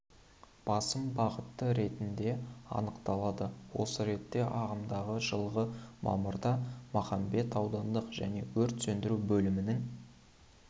басым бағыты ретінде анықталады осы ретте ағымдағы жылғы мамырда махамбет аудандық және өрт сөндіру бөлімінің